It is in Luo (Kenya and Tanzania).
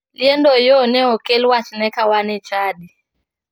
Liend oyoo ne okel wachne kane wana e chadi.